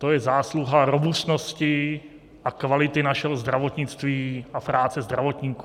To je zásluha robustnosti a kvality našeho zdravotnictví a práce zdravotníků.